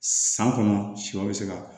San kɔnɔ sɔ bɛ se ka